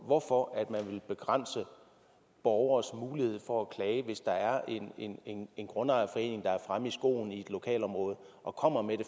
hvorfor man vil begrænse borgeres mulighed for at klage hvis der er en grundejerforening der er fremme i skoene i et lokalområde og kommer med det